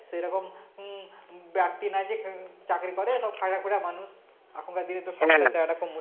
সেরকম হম ব্যক্তি নেই যে চাকরি করে সব খাটাখাটুনি মানুষ এখানকার দিনে তো সব থাকাটা মুশকিল